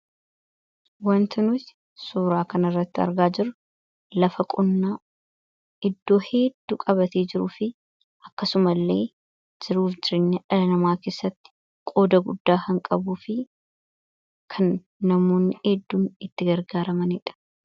Waanta nuti suuraa kan irratti argaa jiru, lafa qonnaa iddoo hedduu qabatee jiruu fi akkasuma illee jiruuf jireenya dhala namaa keessatti qooda guddaa kan qabu fi kan namoonni hedduun itti gargaaramanidha.